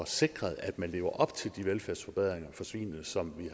sikret at man lever op til de velfærdsforbedringer for svin som